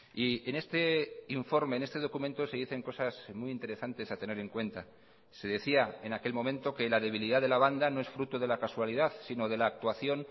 y en este informe en este documento se dicen cosas muy interesantes a tener en cuenta se decía en aquel momento que la debilidad de la banda no es fruto de la casualidad si no de la actuación